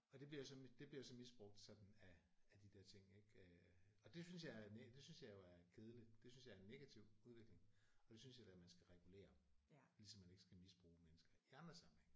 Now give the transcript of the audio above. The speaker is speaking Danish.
Og det bliver så det bliver jo så misbrugt sådan af af de der ting ik øh og det synes jeg er det synes jeg jo er kedeligt det synes jeg er en negativ udvikling og det synes jeg da man skal regulere ligesom man ikke skal misbruge mennesker i andre sammenhænge